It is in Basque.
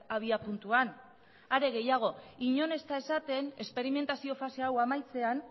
abiapuntuan are gehiago inon ez da esaten esperimentazio fase hau amaitzean